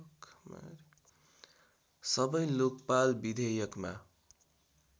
सबै लोकपाल विधेयकमा